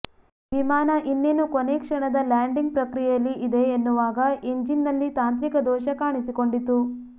ವಿಮಾನ ಇನ್ನೇನು ಕೊನೇ ಕ್ಷಣದ ಲ್ಯಾಂಡಿಂಗ್ ಪ್ರಕ್ರಿಯೆಯಲ್ಲಿ ಇದೆ ಎನ್ನುವಾಗ ಇಂಜಿನ್ನಲ್ಲಿ ತಾಂತ್ರಿಕ ದೋಷ ಕಾಣಿಸಿಕೊಂಡಿತು